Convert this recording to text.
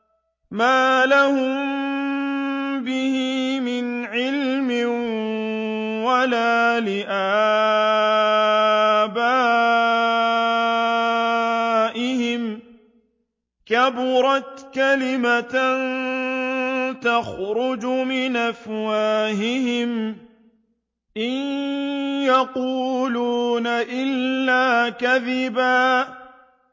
مَّا لَهُم بِهِ مِنْ عِلْمٍ وَلَا لِآبَائِهِمْ ۚ كَبُرَتْ كَلِمَةً تَخْرُجُ مِنْ أَفْوَاهِهِمْ ۚ إِن يَقُولُونَ إِلَّا كَذِبًا